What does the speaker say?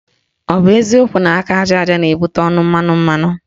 Ọ bụ eziokwu na aka aja aja na-ebute ọnụ mmanụ mmanụ?